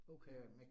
Okay